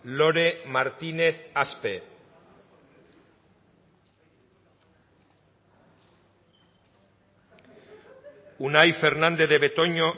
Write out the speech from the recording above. lore martinez axpe unai fernandez de betoño